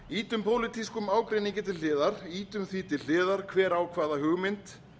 ýtum pólitískum ágreiningi til hliðar ýtum því til hliðar hver á hvaða hugmynd